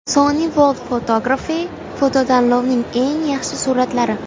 Sony World Photography fototanlovining eng yaxshi suratlari.